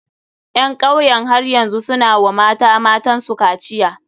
Ƴan kauyen har yanzu su na wa mata matan su kaciya.